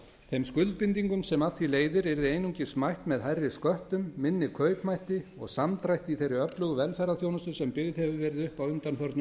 þeim skuldbindingum sem af því leiðir yrði einungis mætt með hærri sköttum minni kaupmætti og samdrætti í þeirri öflugu velferðarþjónustu sem byggð hefur verið upp á undanförnum árum